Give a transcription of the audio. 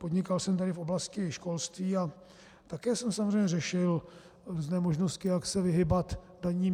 Podnikal jsem tehdy v oblasti školství a také jsem samozřejmě řešil různé možnosti, jak se vyhýbat daním.